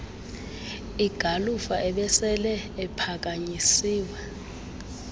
igalufa abesele ephakanyisiwe